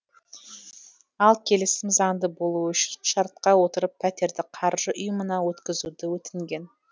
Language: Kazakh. ал келісім заңды болуы үшін шартқа отырып пәтерді қаржы ұйымына өткізуді өтінген